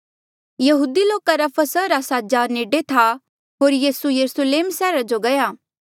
यहूदी लोका रा फसहा रा साजा नेडे था होर यीसू यरुस्लेम सैहरा जो गया